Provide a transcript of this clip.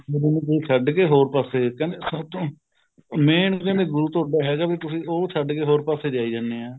ਆਪਣੇ ਗੁਰੂ ਨੂੰ ਛੱਡ ਕੇ ਹੋਰ ਪਾਸੇ ਕਹਿੰਦੇ ਸੱਚ